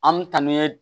An mi taa n'u ye